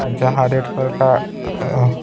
जहाँ red colour का-- अअ